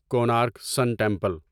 Konark sun temple